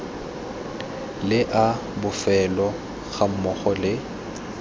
le a bofelo gammogo le